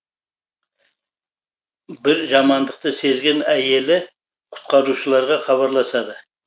бір жамандықты сезген әйелі құтқарушыларға хабарласады